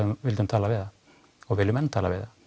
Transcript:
vildum tala við það og viljum enn tala við það